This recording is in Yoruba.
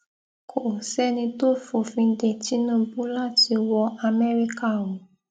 kò sẹni tó fòfin de tìǹbù láti wọ amẹríkà o